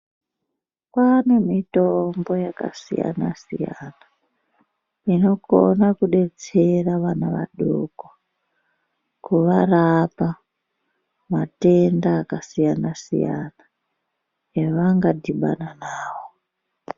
Kwane mitombo yakasiyana-siyana, inokona kubetsera vana vadoko kuvarapa matenda akasiyana-siyana, evanga dhibana navo.